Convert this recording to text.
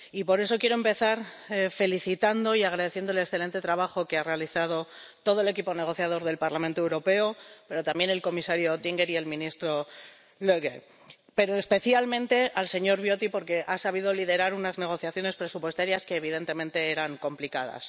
Y por eso quiero empezar agradeciendo el excelente trabajo que ha realizado todo el equipo negociador del Parlamento Europeo, pero también el comisario Oettinger y el ministro Löger, y especialmente quiero felicitar al señor Viotti porque ha sabido liderar unas negociaciones presupuestarias que evidentemente eran complicadas.